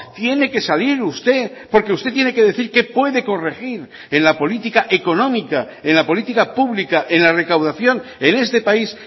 tiene que salir usted porque usted tiene que decir qué puede corregir en la política económica en la política pública en la recaudación en este país